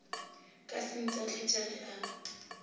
ka se ntahletše ge a